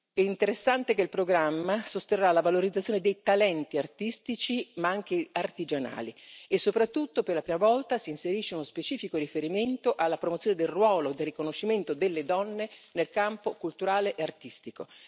È interessante notare che il programma sosterrà la valorizzazione dei talenti artistici ma anche artigianali e, soprattutto, per la prima volta si inserisce uno specifico riferimento alla promozione del riconoscimento del ruolo delle donne nel campo culturale e artistico.